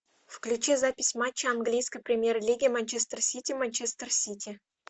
включи запись матча английской премьер лиги манчестер сити манчестер сити